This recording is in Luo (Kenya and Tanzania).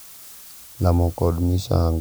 Lamo kod misango itimo ne jodongo machon, .